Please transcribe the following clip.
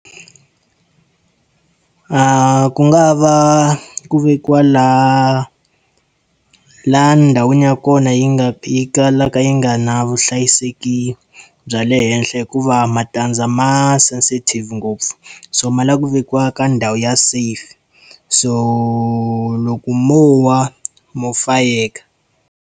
Ku nga ha va ku vekiwa laha, laha ndhawini ya kona yi nga yi kalaka yi nga ri na vuhlayiseki bya le henhla hikuva matandza ma sensitive ngopfu. So ma lava ku vekiwa ka ndhawu ya safe, so loko mo wa, mo fayeka.